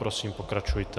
Prosím, pokračujte.